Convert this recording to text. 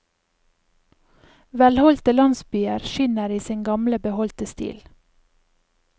Velholdte landsbyer skinner i sin gamle beholdte stil.